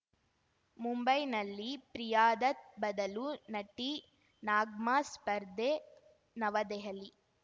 ಮುಂಬೈನಲ್ಲಿ ಪ್ರಿಯಾದತ್‌ ಬದಲು ನಟಿ ನಗ್ಮಾ ಸ್ಪರ್ಧೆ ನವದೆಹಲಿ